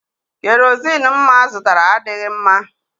Kerozini mma zụtara adịghị mma.